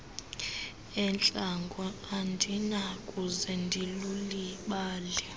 entlango andinakuze ndilulibale